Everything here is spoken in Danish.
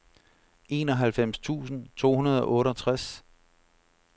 enoghalvfems tusind to hundrede og otteogtres